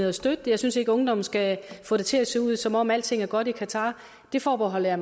og støtte det jeg synes ikke ungdommen skal få det til at se ud som om alting er godt i qatar der forbeholder jeg